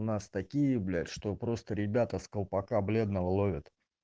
у нас такие блять что просто ребята с колпака бледного ловят